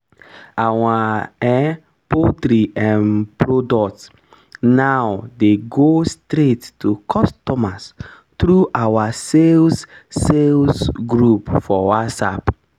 our um poultry um product now dey go straight to customers through our sales sales group for whatsapp